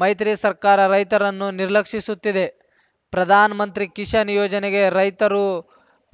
ಮೈತ್ರಿ ಸರ್ಕಾರ ರೈತರನ್ನು ನಿರ್ಲಕ್ಷಿಸುತ್ತಿದೆ ಪ್ರಧಾನಮಂತ್ರಿ ಕಿಶಾನ್‌ ಯೋಜನೆಗೆ ರೈತರು